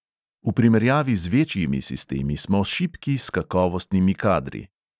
V primerjavi z večjimi sistemi smo šibki s kakovostnimi kadri.